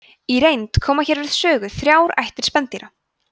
í reynd koma hér við sögu þrjár ættir spendýra